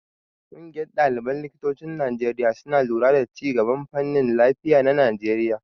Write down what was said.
Ƙungiyar ɗaliban likitocin Najeriya suna lura da ci gaban fannin lafiya na Najeriya.